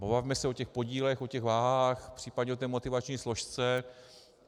Pobavme se o těch podílech, o těch vahách, případně o té motivační složce.